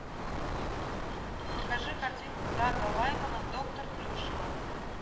покажи картинку дага лаймана доктор плюшева